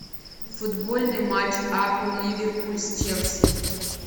футбольный матч апл ливерпуль с челси